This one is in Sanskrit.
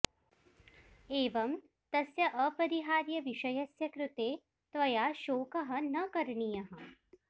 एवं तस्य अपरिहार्यविषयस्य कृते त्वया शोकः न करणीयः